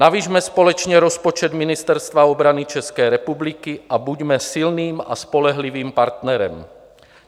Navyšme společně rozpočet Ministerstva obrany České republiky a buďme silným a spolehlivým partnerem.